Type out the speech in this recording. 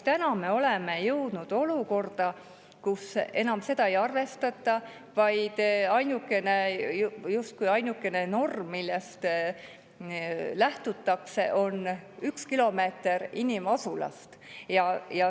Täna me oleme jõudnud olukorda, kus seda enam ei arvestata, vaid justkui ainukene norm, millest lähtutakse, on 1 kilomeeter inimasulast.